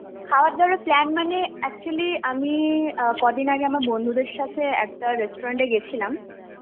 খাবার দাবারের plan মানে actually আমি কদিন আগে আমার বন্ধুদের সাথে একটা Restaurant এ গেছিলাম.